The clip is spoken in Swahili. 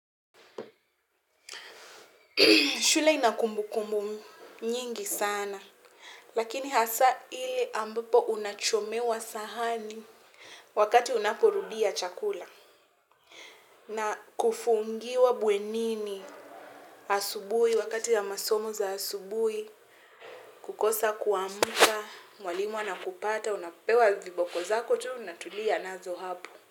Shule inakumbu kumbu nyingi sana. Lakini hasa ile ambapo unachomewa sahani wakati unaporudia chakula. Na kufungiwa bwenini asubuhi wakati ya masomo za asubuhi. Kukosa kuamka, mwalimu ana kupata, unapewa viboko zako tu unatulia nazo hapo.